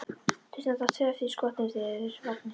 Þau standa tvö eftir í skotinu þegar þeir eru farnir.